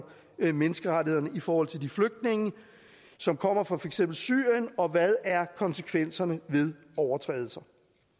menneskerettighederne i forhold til de flygtninge som kommer fra for eksempel syrien og hvad er konsekvenserne ved overtrædelser